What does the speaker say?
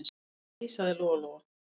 Nei, sagði Lóa-Lóa.